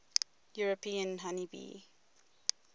european honey bee